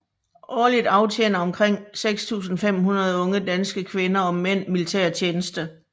Årligt aftjener omtrent 6500 unge danske kvinder og mænd militærtjeneste